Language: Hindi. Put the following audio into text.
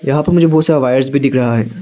यहां पर मुझे बहुत सारा वायरस भी दिख रहा है।